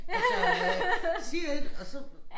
Altså øh siger et og så